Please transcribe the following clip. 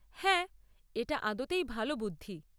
হ্যাঁ, এটা আদতেই ভালো বুদ্ধি।